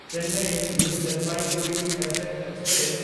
Chennai new Jalpaiguri SF express